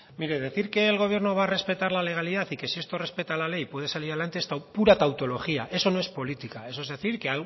mire decir que el gobierno va a respetar la legalidad y que si esto respeta la ley puede salir adelante es pura tautología es no es política eso es decir que